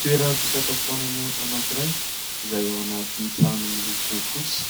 Toeram-pisakafoanana anankiray izay ao anaty trano miloko fotsy,